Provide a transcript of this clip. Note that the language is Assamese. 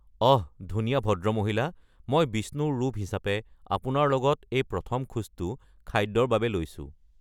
অহ! ধুনীয়া ভদ্ৰমহিলা, মই বিষ্ণুৰ ৰূপ হিচাপে আপোনাৰ লগত এই প্ৰথম খোজটো খাদ্যৰ বাবে লৈছোঁ।